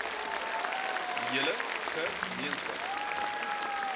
hele ge meenskap